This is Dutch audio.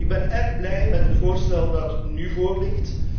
Ik ben erg blij met het voorstel dat nu voorligt.